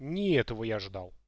не этого я ожидал